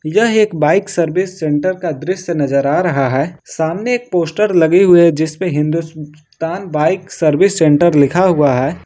यह एक bike service centre का दृश्य नजर आ रहा है सामने एक पोस्टर लगे हुए है जिसपर हिंदुस्तान बाइक सर्विस सेंटर लिखा हुआ है।